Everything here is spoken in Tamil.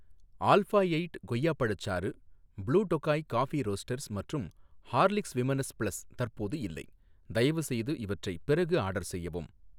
ஆல்ஃபா எயிட் கொய்யா பழச்சாறு, ப்ளூ டொகாய் காபி ரோஸ்ட்டர்ஸ் மற்றும் ஹார்லிக்ஸ் விமனஸ் பிளஸ் தற்போது இல்லை, தயவுசெய்து இவற்றை பிறகு ஆர்டர் செய்யவும்